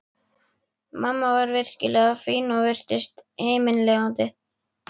Mamma var virkilega fín og virtist himinlifandi.